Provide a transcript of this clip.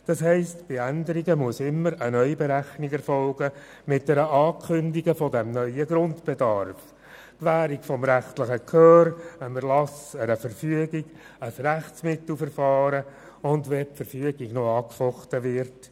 Dies bedeutet, dass bei Änderungen immer eine Neuberechnung erfolgen muss mit der Ankündigung des neuen Grundbedarfs, der Gewährung des rechtlichen Gehörs, dem Erlassen einer Verfügung und einem Rechtsmittelverfahren, wenn die Verfügung angefochten wird.